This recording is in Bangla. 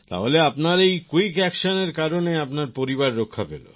তাহলে আপনার এই কুইক অ্যাকশন এর কারণে আপনার পরিবার রক্ষা পেল